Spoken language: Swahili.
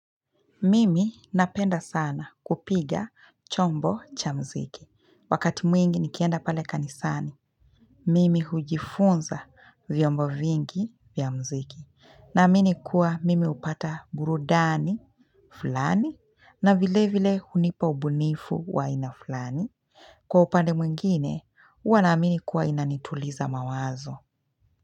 Mimi napenda sana kupiga chombo cha muziki. Wakati mwingi nikienda pale kanisani Mimi hujifunza vyombo vingi vya muziki. Naamini kuwa mimi hupata burudani fulani na vile vile hunipa ubunifu wa aina fulani Kwa upande mwingine huwa naamini kuwa inanituliza mawazo.